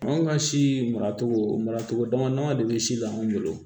Anw ka si maracogo mara cogo dama dama de bɛ si la anw bolo